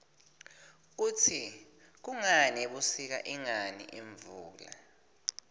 kutsi kungani ebusika ingani imvula